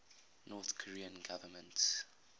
north korean government